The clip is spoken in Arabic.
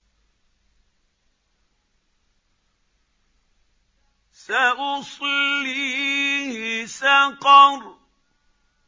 سَأُصْلِيهِ سَقَرَ